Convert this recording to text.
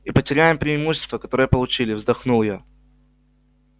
и потеряем преимущество которое получили вздохнул я